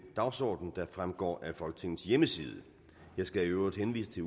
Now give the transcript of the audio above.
dagsorden der fremgår af folketingets hjemmeside jeg skal i øvrigt henvise til